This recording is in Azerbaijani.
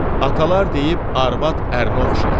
Atalar deyib, "Ərvad ərnə oxşayar".